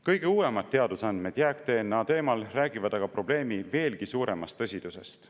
Kõige uuemad teadusandmed jääk-DNA teemal räägivad aga probleemi veelgi suuremast tõsidusest.